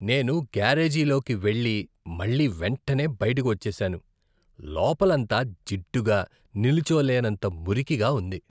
నేను గ్యారేజీలోకి వెళ్లి, మళ్లీ వెంటనే బయటకు వచ్చేసాను, లోపలంతా జిడ్డుగా నిల్చోలేనంత మురికిగా ఉంది .